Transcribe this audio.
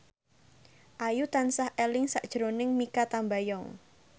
Ayu tansah eling sakjroning Mikha Tambayong